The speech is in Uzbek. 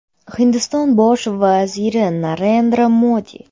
Hindiston Bosh vaziri Narendra Modi.